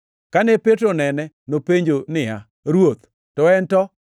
Kane Petro onene, nopenjo niya, “Ruoth, to en to?”